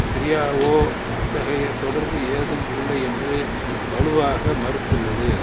சிரியாவோ அத்தகைய தொடர்பு ஏதும் இல்லை என்று வலுவாக மறுத்துள்ளது